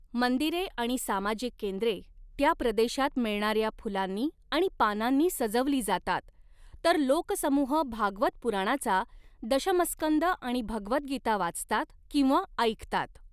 मंदिरे आणि सामाजिक केंद्रे त्या प्रदेशात मिळणाऱ्या फुलांनी आणि पानांनी सजवली जातात, तर लोकसमूह भागवत पुराणाचा दशमस्कंद आणि भगवद्गीता वाचतात किंवा ऐकतात.